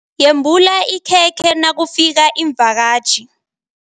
Yembula ikhekhe nakufika iimvakatjhi.